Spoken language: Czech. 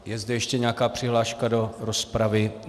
Je zde ještě nějaká přihláška do rozpravy?